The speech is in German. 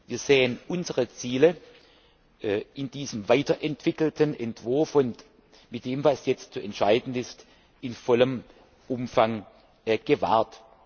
Wir sehen unsere Ziele in diesem weiterentwickelten Entwurf und mit dem, was jetzt zu entscheiden ist, in vollem Umfang gewahrt.